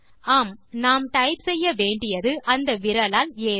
ஆமாம் நாம் டைப் செய்ய வேண்டியது அந்த விரலால் ஆ வை